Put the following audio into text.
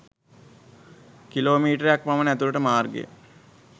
kilo මීටරයක් පමණ ඇතුළට මාර්ගය